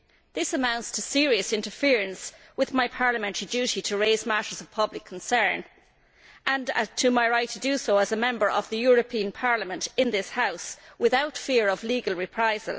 This amounts to serious interference with my parliamentary duty to raise matters of public concern and with my right to do so as a Member of the European Parliament in this House without fear of legal reprisal.